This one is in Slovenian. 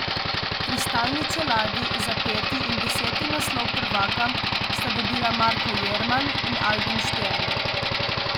Kristalni čeladi za peti in deseti naslov prvaka sta dobila Marko Jerman in Albin Štern.